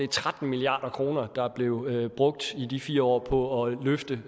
tretten milliard kr der blev brugt i de fire år på at løfte